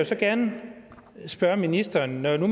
så gerne spørge ministeren når nu